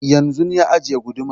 Yanzun ya ajiye gudumar